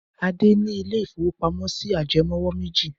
Adé ní ilé-ìfowópamọ́sí ajẹmówò méjì.